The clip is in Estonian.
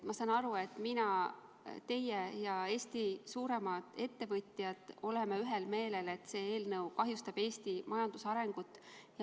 Ma saan aru, et mina, teie ja Eesti suuremad ettevõtjad oleme ühel meelel, et selle eelnõu elluviimine kahjustaks Eesti majanduse arengut.